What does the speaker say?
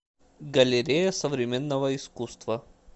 галерея современного искусства